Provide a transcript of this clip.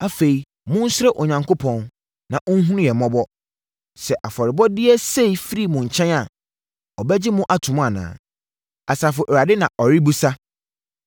“Afei mo nsrɛ Onyankopɔn, na ɔnhunu yɛn mmɔbɔ. Sɛ afɔrebɔdeɛ sei firi mo nkyɛn a, ɔbɛgye mo ato mu anaa?” Asafo Awurade na ɔrebisa.